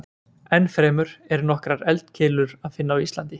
Ennfremur er nokkrar eldkeilur að finna á Íslandi.